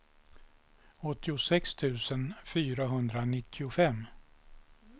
åttiosex tusen fyrahundranittiofem